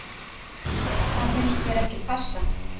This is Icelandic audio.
Það finnst mér ekki passa.